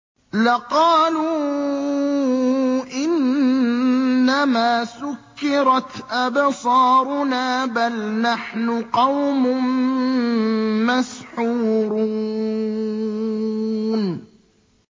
لَقَالُوا إِنَّمَا سُكِّرَتْ أَبْصَارُنَا بَلْ نَحْنُ قَوْمٌ مَّسْحُورُونَ